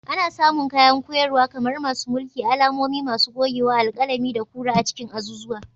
Ana samun kayan koyarwa kamar masu mulki, alamomi, masu gogewa, alƙalami, da kura a cikin azuzuwa.